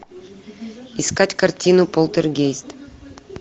искать картину полтергейст